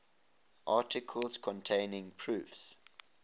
articles containing proofs